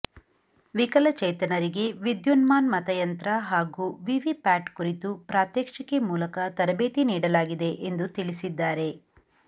ವಿಕಲಚೇತನರಿಗೆ ವಿದ್ಯುನ್ಮಾನ್ ಮತಯಂತ್ರ ಹಾಗೂ ವಿವಿ ಪ್ಯಾಟ್ ಕುರಿತು ಪ್ರಾತ್ಯಕ್ಷಿಕೆ ಮೂಲಕ ತರಬೇತಿ ನೀಡಲಾಗಿದೆ ಎಂದು ತಿಳಿಸಿದ್ದಾರೆ